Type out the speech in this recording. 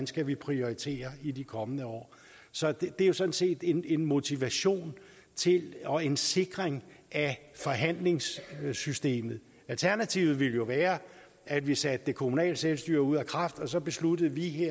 skal prioritere i de kommende år så det er jo sådan set en motivation til og en sikring af forhandlingssystemet alternativet ville jo være at vi satte det kommunale selvstyre ud af kraft og så besluttede vi